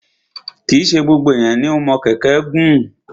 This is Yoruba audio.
Kì í ṣe gbogbo ènìyàn ni o mọ kẹ̀kẹ́ gùn.